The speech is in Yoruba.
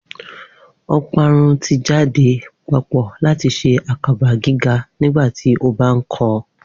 Oparun ti jade papọ lati ṣe akaba giga nigbati o ba kọ